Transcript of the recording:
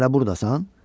Sən hələ burdasan?